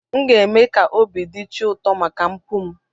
M ga-eme ka obi dị chi ụtọ maka mpụ m.